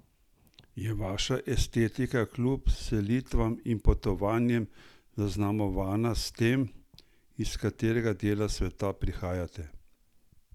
Je vaša estetika kljub selitvam in potovanjem zaznamovana s tem, iz katerega dela sveta prihajate?